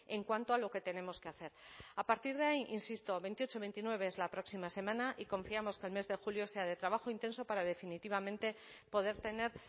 en cuanto a lo que tenemos que hacer a partir de ahí insisto veintiocho veintinueve es la próxima semana y confiamos que el mes de julio sea de trabajo intenso para definitivamente poder tener